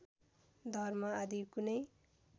धर्म आदि कुनै